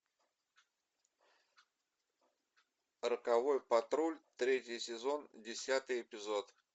роковой патруль третий сезон десятый эпизод